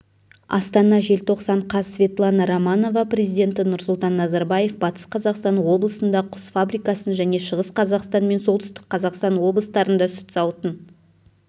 астана желтоқсан қаз светлана романова президенті нұрсұлтан назарбаев батыс қазақстан облысында құс фабрикасын және шығыс қазақстан мен солтүстік қазақстан облыстарында сүт зауытын